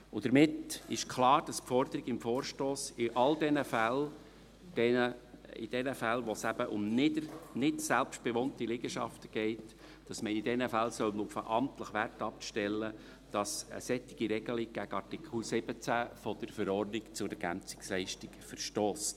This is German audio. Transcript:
Damit ist klar, dass die Forderung des Vorstosses in all diesen Fällen, in denen es um nicht selbstbewohnte Liegenschaften geht, auf den amtlichen Wert abstellen soll und dass eine solche Regelung gegen Artikel 17 ELV verstösst.